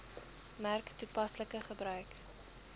merk toepaslike gebruik